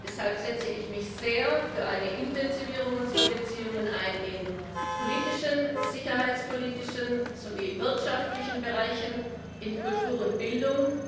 Deshalb setze ich mich sehr für eine Intensivierung unserer Beziehungen ein, in politischen, sicherheitspolitischen sowie wirtschaftlichen Bereichen, in Kultur und Bildung.